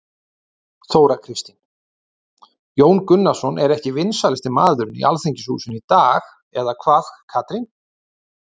Þóra Kristín: Jón Gunnarsson er ekki vinsælasti maðurinn í Alþingishúsinu í dag eða hvað Katrín?